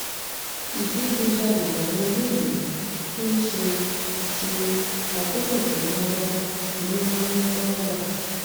ìdígunjalè làwọn eléyìí fi ń ṣe ṣe àkóò kẹ̀kẹ́ marwa ni wọ́n máa ń já gbà